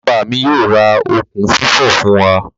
Baba mi yoo ra okun fifo fun wa.